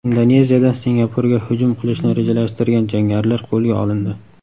Indoneziyada Singapurga hujum qilishni rejalashtirgan jangarilar qo‘lga olindi.